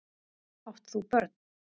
Átt þú börn?